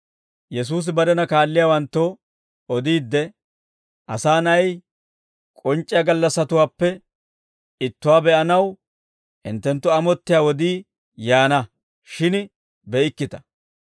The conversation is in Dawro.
Yesuusi barena kaalliyaawanttoo odiidde, «Asaa Na'ay k'onc'c'iyaa gallassatuwaappe ittuwaa be'anaw hinttenttu amottiyaa wodii yaana; shin be'ikkita.